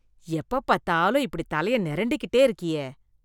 எப்ப பாத்தாலும் இப்படி தலைய நெரண்டிகிட்டே இருக்கியே...